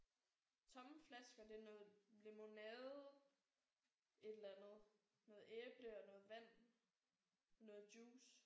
Tomme flasker. Det er noget lemonade et eller andet noget æble og noget vand noget juice